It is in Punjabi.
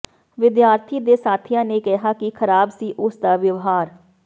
ਵਿਦਿਆਰਥੀ ਦੇ ਸਾਥੀਆਂ ਨੇ ਕਿਹਾ ਕਿ ਖ਼ਰਾਬ ਸੀ ਉਸ ਦਾ ਵਿਵਹਾਰ